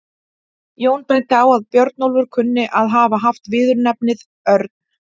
Jón benti á að Björnólfur kunni að hafa haft viðurnefnið örn.